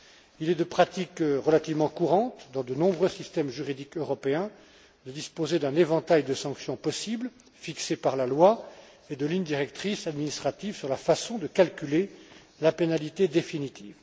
Il est de pratique relativement courante dans de nombreux systèmes juridiques européens de disposer d'un éventail de sanctions possibles fixées par la loi et de lignes directrices administratives sur la façon de calculer la pénalité définitive.